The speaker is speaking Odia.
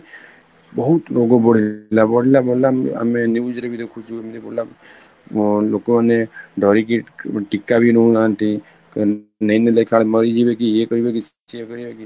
ବହୁତ ରୋଗ ବଢିଗଲା, ବଢ଼ିଲା ବଢ଼ିଲା ଆମେ news ରେ ବି ଦେଖୁଛୁ ଏମିତି ବଢ଼ିଲା ଅ ଲୋକ ମାନେ ଡରିକି ଟୀକା ବି ନଉନାହାନ୍ତି ଦେଖା ବେଳେ ମରିଯିବେ କି ୟେ କରିବେ ସେ କରିବେ କି